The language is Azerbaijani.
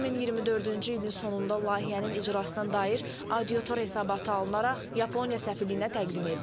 2024-cü ilin sonunda layihənin icrasına dair auditor hesabatı alınaraq Yaponiya səfirliyinə təqdim edilib.